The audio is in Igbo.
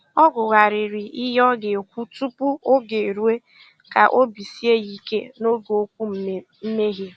Ọ gụ̀ghàrị̀rị́ ihe ọ ga-èkwú tupu ógè èrùó kà óbì síè ya ìké n'ógè okwu mmèghé.